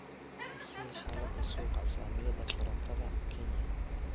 i sii xaalada suuqa saamiyada korontada kenya